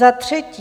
Za třetí.